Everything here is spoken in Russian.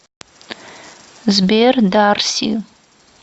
сбер дарси